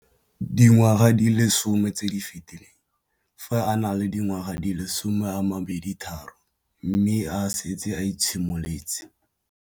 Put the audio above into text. Dingwaga di le 10 tse di fetileng, fa a ne a le dingwaga di le 23 mme a setse a itshimoletse